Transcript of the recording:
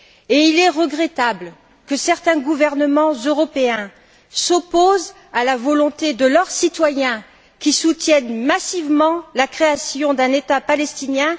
Et il est regrettable que certains gouvernements européens s'opposent à la volonté de leurs citoyens qui soutiennent massivement la création d'un État palestinien.